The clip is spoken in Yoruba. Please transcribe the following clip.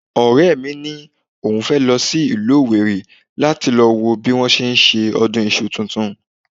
Ọ̀rẹ́ mi ni òun fẹ́ lọ sí ìlú owerri láti lọ wo bí wọ́n ti ń ṣe ọdún iṣu tuntun